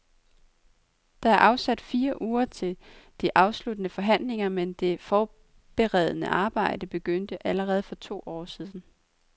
Der er afsat fire uger til de afsluttende forhandlinger, men det forberedende arbejde begyndte allerede for to år siden.